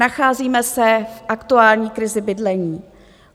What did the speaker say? Nacházíme se v aktuální krizi bydlení.